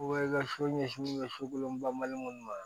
i ka so ɲɛsin bɛ sokolonba mali minnu ma